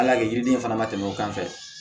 Hali a ye yiriden fana tɛmɛ o kan fɛ